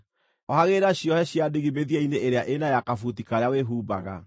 Ohagĩrĩra ciohe cia ndigi mĩthia-inĩ ĩrĩa ĩna ya kabuti karĩa wĩhumbaga.